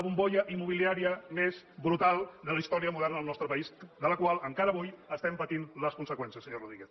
bombolla immobiliària més brutal de la història moderna del nostre país de la qual encara avui estem patint les conseqüències senyor rodríguez